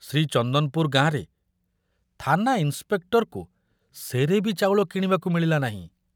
ଶ୍ରୀଚନ୍ଦନପୁର ଗାଁରେ ଥାନା ଇନ୍ସପେକ୍ଟରକୁ ସେରେ ବି ଚାଉଳ କିଣିବାକୁ ମିଳିଲା ନାହିଁ।